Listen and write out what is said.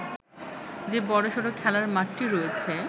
যে বড়সড় খেলার মাঠটি রয়েছে